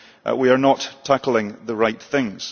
We are not tackling the right things.